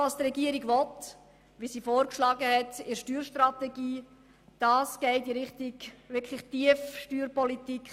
Was die Regierung will und in der Steuerstrategie vorgeschlagen hat, geht in Richtung Tiefsteuerpolitik.